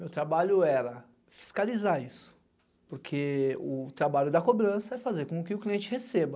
Meu trabalho era fiscalizar isso, porque o trabalho da cobrança é fazer com que o cliente receba.